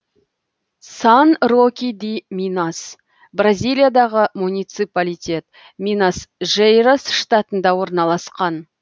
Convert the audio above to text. сан роки ди минас бразилиядағы муниципалитет минас жерайс штатында орналасқан